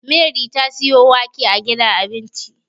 Mary ta siyo wake a gidan abinci